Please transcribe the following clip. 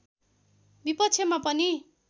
विपक्षमा पनि